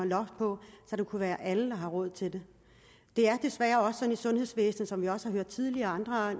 loft på så det kan være alle der har råd til det det er desværre sådan i sundhedsvæsenet som vi også tidligere har